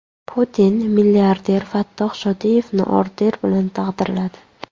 Putin milliarder Fattoh Shodiyevni orden bilan taqdirladi.